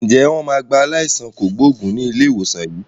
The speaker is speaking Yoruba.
Ǹjẹ́ wọn máa gba aláìsàn kògbógùn ni ilé ìwòsàn yín?